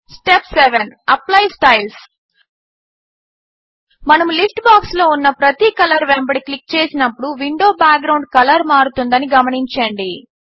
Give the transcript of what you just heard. step 7 apply styles మనము list బాక్స్లో ఉన్న ప్రతి కలర్ వెంబడి క్లిక్ చేసినప్పుడు విండో బ్యాక్గ్రౌండ్ కలర్ మారుతుందని గమనించండి